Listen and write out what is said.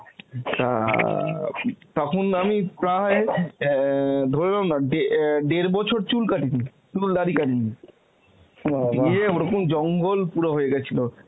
তা তখন আমি প্রায় অ্যাঁ ধরে নাও না ডে~ অ্যাঁ ডের বছর চুল কাটিনি, চুল দাড়ি কাটিনি. দিয়ে ওরকম জঙ্গল পুরো হয়ে গিয়েছিল.